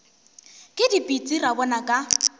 ke dipitsi ra bona ka